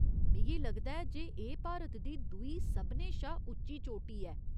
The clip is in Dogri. मिगी लगदा ऐ जे एह् भारत दी दूई सभनें शा उच्ची चोटी ऐ ?